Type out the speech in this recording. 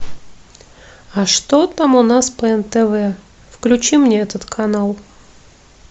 а что там у нас по нтв включи мне этот канал